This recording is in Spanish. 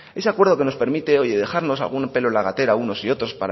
ese acuerdo que nos permite oye dejarnos algún pelo en la gatera unos y otros